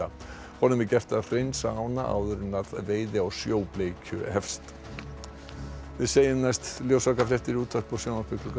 honum er gert að hreinsa ána áður en veiði á sjóbleikju hefst við segjum næst í útvarpi og sjónvarpi klukkan